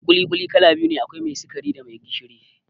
ƙuli-ƙuli kala biyu ne, akwai mai sikari da mai gishiri